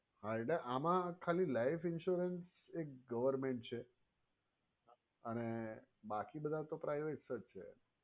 હા એટલે આમાં ખાલી life insurance એક government છે અને બાકી બધા તો privates જ છે.